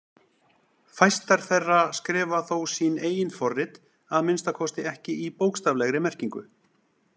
Fæstar þeirra skrifa þó sín eigin forrit, að minnsta kosti ekki í bókstaflegri merkingu.